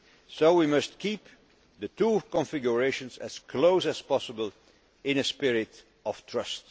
So we must keep the two configurations as close as possible, in a spirit